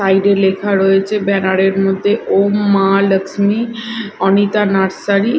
Side -এ লেখা রয়েছে ব্যানার -এর মধ্যে ওম মা লক্সমি অনিতা নার্সারি ।